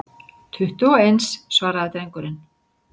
Tuttugu og eins, svaraði drengurinn.